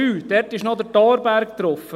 Dort ist noch der Thorberg drauf.